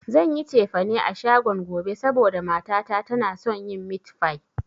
Zan yi cefane a shagon gobe, saboda mata ta tana son yin mit fai